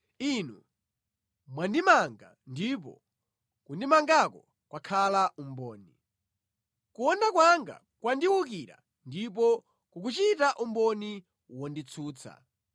Inu mwandimanga ndipo kundimangako kwakhala umboni; kuwonda kwanga kwandiwukira ndipo kukuchita umboni wonditsutsa.